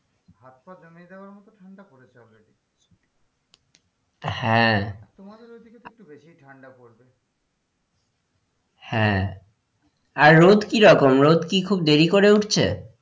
হাত পা জমে যাওয়ার মতো ঠান্ডা পড়েছে already হ্যাঁ তোমাদের ওই দিকে তো একটু বেশিই ঠান্ডা পড়বে হ্যাঁ আর রোদ কি রকম? রোদ কি খুব দেরি করে উঠছে?